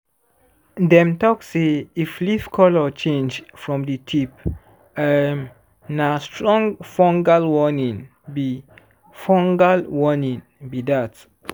dem talk say if leaf colour change from di tip um na strong fungal warning be fungal warning be dat.